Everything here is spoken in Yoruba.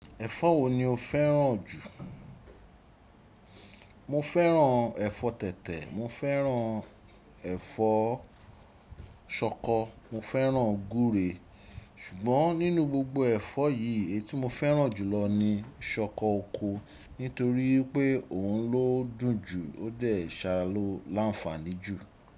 Ẹ̀fọ́ wo ni o fẹ́ràn jù? Mo fẹ́ràn ẹ̀fọ́ tẹ̀tẹ̀, mo fẹ́ràn ẹ̀fọ́ ṣọkọ, mo fẹ́ràn guúre, ṣùgbọ́n nínú gbogbo ẹ̀fọ́ yìí, èyí tí mo fẹ́ràn jùlọ ni ṣọkọ oko nítorí pé òun ló dùn jù ó dẹ̀ ṣàlọ láǹfààní jù.